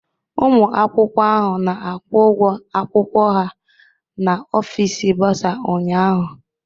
Ụmụ akwụkwọ ahụ na-akwụ ụgwọ akwụkwọ ha n'ofisi bursar ụnyahụ.